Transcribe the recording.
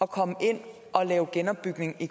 komme ind og lave genopbygning i